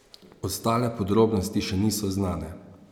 Ostale podrobnosti še niso znane.